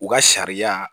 U ka sariya